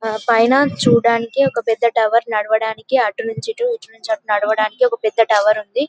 పైన చూడడానికి ఒక పెద్ద టవర్ నడవడానికి అటు నుంచి ఇటు ఇటు నుంచి అటు నడవడానికి ఒక పెద్ద టవర్ ఉంది --